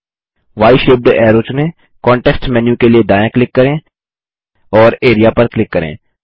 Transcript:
y shaped arrow चुनें context menu के लिए दायाँ क्लिक करें और एआरईए पर क्लिक करें